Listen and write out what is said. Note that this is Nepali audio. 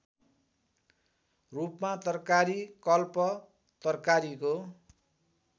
रूपमा तर्कारीकल्प तर्कारीको